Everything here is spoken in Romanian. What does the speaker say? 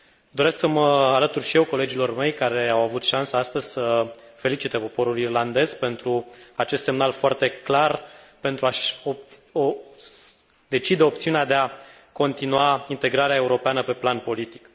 Doresc să mă alătur și eu colegilor mei care au avut șansa astăzi să felicite poporul irlandez pentru acest semnal foarte clar pentru a și decide opțiunea de a continua integrarea europeană pe plan politic.